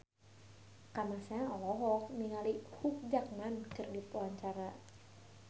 Kamasean olohok ningali Hugh Jackman keur diwawancara